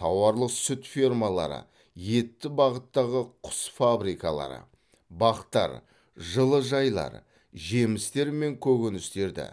тауарлық сүт фермалары етті бағыттағы құс фабрикалары бақтар жылыжайлар жемістер мен көкөністерді